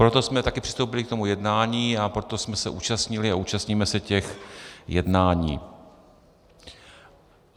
Proto jsme také přistoupili k tomu jednání a proto jsme se účastnili a účastníme se těch jednání.